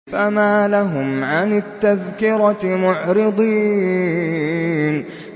فَمَا لَهُمْ عَنِ التَّذْكِرَةِ مُعْرِضِينَ